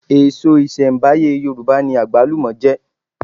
Èso ìṣẹ̀m̀báyé Yorùbá ni àgbálùmọ̀ jẹ́